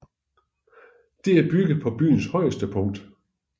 Det er bygget på byens højeste punkt